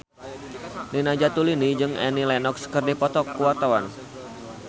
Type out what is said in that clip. Nina Zatulini jeung Annie Lenox keur dipoto ku wartawan